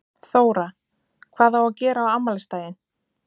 Þóra: Hvað á að gera á afmælisdaginn?